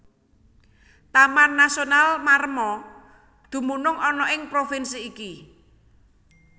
Taman Nasional Maremma dumunung ana ing provinsi iki